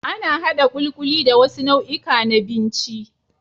Ana haɗa ƙuliƙuli da wasu nau'ika na binci.